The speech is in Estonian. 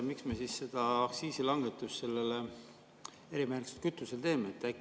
Miks me siis aktsiisilangetust sellele erimärgistatud kütusele teeme?